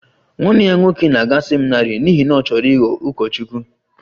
Nwanne ya nwoke na-aga seminarị n'ihi na ọ chọrọ ịghọ ụkọchukwu